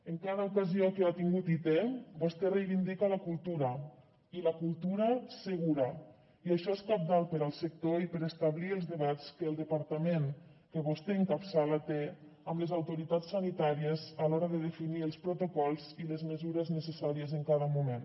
en cada ocasió que ha tingut i té vostè reivindica la cultura i la cultura segura i això és cabdal per al sector i per establir els debats que el departament que vostè encapçala té amb les autoritats sanitàries a l’hora de definir els protocols i les mesures necessàries en cada moment